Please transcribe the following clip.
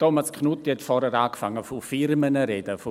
Thomas Knutti hat zuvor angefangen von Firmen zu sprechen.